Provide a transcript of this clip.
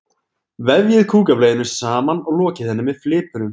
Vefjið kúkableiunni saman og lokið henni með flipunum.